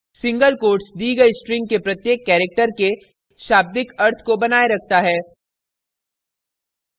* single quotes दी गयी string के प्रत्येक character के शाब्दिक अर्थ को बनाये रखता है